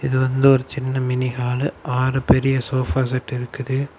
இது வந்து ஒரு சின்ன மினிஹாலு ஆறு பெரிய சோபா செட் இருக்குது.